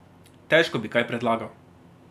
Težko bi kaj predlagal.